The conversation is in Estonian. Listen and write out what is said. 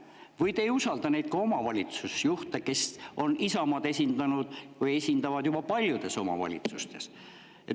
Või te ei usalda ka neid omavalitsusjuhte, kes on Isamaad esindanud või esindavad paljudes omavalitsustes?